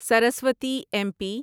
Saraswati M پی